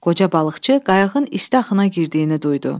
Qoca balıqçı qayığın isti hana girdiyini duydu.